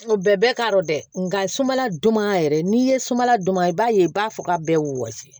Nka bɛɛ bɛ k'a dɔn dɛ nka sumala don ma yɛrɛ n'i ye sumaladon man i b'a ye i b'a fɔ k'a bɛɛ wɔsi